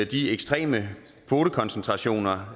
de ekstreme kvotekoncentrationer